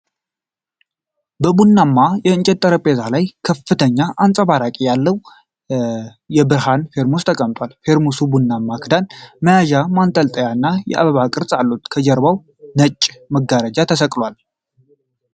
በቡናማ የእንጨት ጠረጴዛ ላይ ከፍተኛ አንጸባራቂነት ያለው የብረት ፌርሙስ ተቀምጧል። ፌርሙሱ ቡናማ ክዳን፣ መያዣ፣ ማንጠልጠያ እና የአበባ ቅርጾች አሉት። ከጀርባው ነጭ መጋረጃ ተሰቅሏል።